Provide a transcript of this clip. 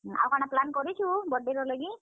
ଆଉ କାଣା plan କରିଛୁ birthday ର ଲାଗି?